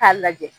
K'a lajɛ